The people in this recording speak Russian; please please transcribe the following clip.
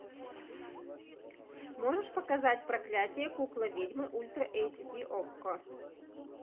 можешь показать проклятье куклы ведьмы ультра эйч ди окко